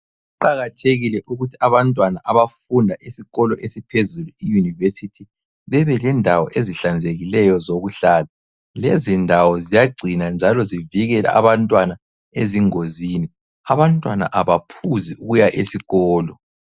Kuqakathekile ukuthi abantwana abafunda esikolo esiphezulu iUniversity bebelendawo ezihlanzekileyo zokuhlala. Lezindawo ziyagcina njalo zivikele abantwana ezingozini. Abantwana abaphuzi ukuya esikolo.